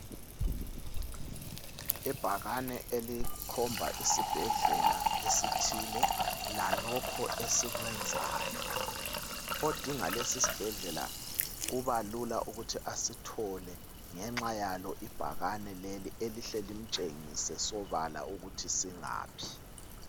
Ibhakane elikhomba isibhedlela esithile, lalokho esikwenzayo. Odinga lesi sibhedlela kuba lula ukuthi asithole ngenxa yalo ibhakane leli, elihle limtshengise sobala ukuthi singaphi.